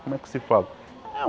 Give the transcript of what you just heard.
Como é que se fala?